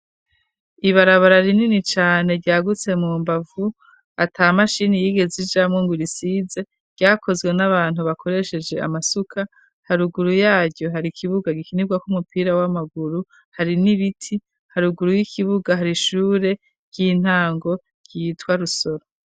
Iya mashuri matoya yo mu kirundo ntibakiyigiramwo agaumayugaye bari barashizeko imiryango isize ibara ry'ubururu n'amadirisha akoze mu twuma dusize ibara ry'ubururu nyene iruhande yyo bamashuri bari barashize ikigega c'amazi kiri mwibararyirabura, kandi abo umashure yari akikujwe n'ibiti birebire none, ubu imbere y'amashure basigaye baharagirira.